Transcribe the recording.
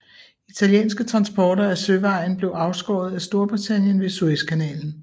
Italienske transporter ad søvejen blev afskåret af Storbritannien ved Suez kanalen